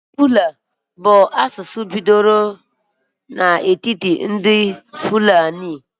Asụsụ Fula bụ asụsụ bidoro n'etiti agbụrụ na-achị ehi akpọrọ Fulani.